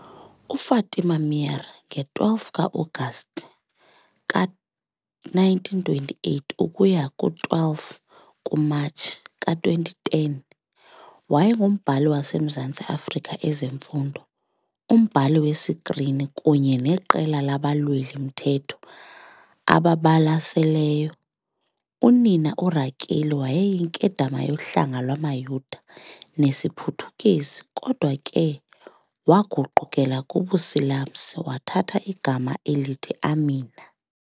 UFatima Meer nge-12 ka-Agasti ka-1928 ukuya kowe-12 ku-Matshi ka-2010 wayengumbhali wase Mzantsi Afrika, ezemfundo, umbhali wesikrini, kunye neqela labalweli-mthetho babalaseleyo. Unina, uRakeli, wayeyinkedama yohlanga lwamaYuda nesiPhuthukezi, kodwa ke waguqukela kubuSilamsi wathatha igama elithi Amina.